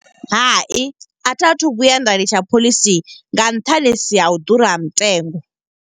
Hai, a tha thu vhuya nda litsha phoḽisi nga nṱhani ha u ḓura ha mutengo.